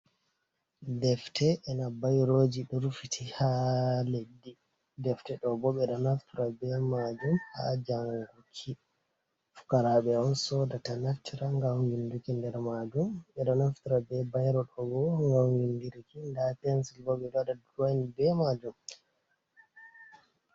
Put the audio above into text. Defte e na bayroji ɗo rufiti ha leddi. Defte ɗo bo beɗo naftira be majum ha janguki. fukaraɓe on soda ta naftira gam winduki nder majum. Ɓe ɗo naftira ɓe byro ɗo gam vinduki. Nda fensil bo ɓe ɗo waɗa durowin be majum.